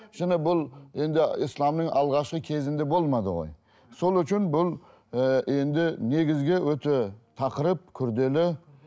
жаңа бұл енді исламның алғашқы кезінде болмады ғой сол үшін бұл і енді негізгі өте тақырып күрделі